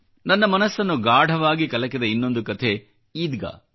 ನನ್ನ ಮನಸ್ಸನ್ನು ಗಾಢವಾಗಿ ಕಲಕಿದ ಇನ್ನೊಂದು ಕಥೆ ಈದ್ಗಾ